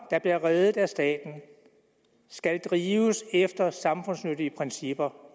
der bliver reddet af staten skal drives efter samfundsnyttige principper